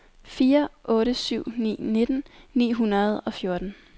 fire otte syv ni nitten ni hundrede og fjorten